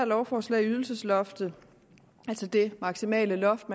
lovforslag ydelsesloftet altså det maksimale loft